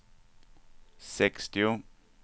sextio